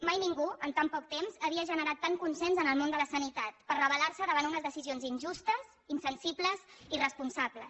mai ningú en tant poc temps havia generat tant consens en el món de la sanitat per revelar se davant unes decisions injustes insensibles irresponsables